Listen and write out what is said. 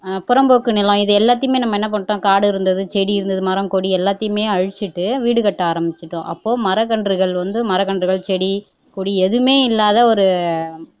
புறம்போக்கு நிலம் இதை எல்லாத்தையுமே நம்ம என்ன பண்ணிட்டோம் காடு இருந்தது செடி இருந்தது மரம் கொடி எல்லாத்தையுமே அழிச்சிட்டு வீடு கட்ட ஆரம்பிச்சுட்டோம் அப்போ மரக்கன்றுகள் வந்து மரக்கன்றுகள் செடி கொடி எதுவுமே இல்லாத ஒரு